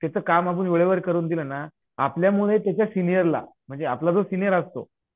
त्याचं काम आपण वेळेवर करून दिलं ना आपल्यामुळे त्याच्या सिनियरला म्हणजे आपला जो सिनियर असतो